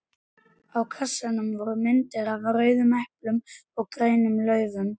Á kassanum voru myndir af rauðum eplum og grænum laufum.